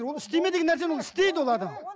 ол істеме деген нәрсені ол істейді ол адам